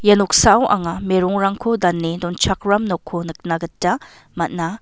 ia noksao anga merongrangko dane donchakram noko nikna gita man·a.